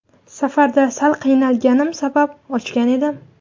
Safarda sal qiynalganim sabab ochgan edim.